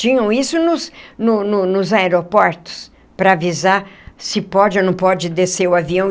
Tinham isso nos no no nos aeroportos para avisar se pode ou não pode descer o avião.